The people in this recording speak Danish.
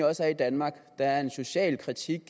også er i danmark der er en social kritik